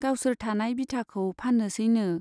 गावसोर थानाय बिथाखौ फान्नोसैनो।